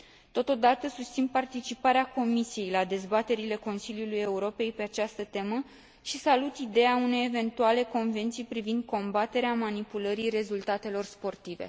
Totodată, susțin participarea Comisiei la dezbaterile Consiliului Europei pe această temă și salut ideea unei eventuale convenții privind combaterea manipulării rezultatelor sportive.